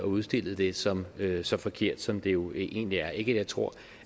udstillet det som værende så forkert som det jo egentlig er ikke at jeg tror